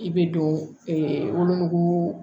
I bɛ don wolonugu